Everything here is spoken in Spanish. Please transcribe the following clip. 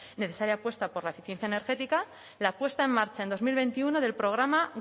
necesaria apuesta por la eficiencia energética la puesta en marcha en dos mil veintiuno del programa